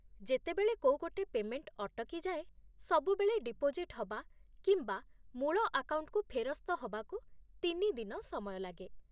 ଯେତେବେଳେ କୋଉ ଗୋଟେ ପେ'ମେଣ୍ଟ ଅଟକିଯାଏ, ସବୁବେଳେ ଡିପୋଜିଟ୍ ହବା କିମ୍ବା ମୂଳ ଆକାଉଣ୍ଟକୁ ଫେରସ୍ତ ହବାକୁ ତିନି ଦିନ ସମୟ ଲାଗେ ।